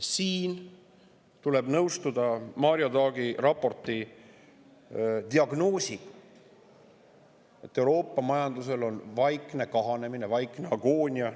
Siin tuleb nõustuda Mario Draghi raporti diagnoosiga, et Euroopa majanduses on vaikne kahanemine, vaikne agoonia.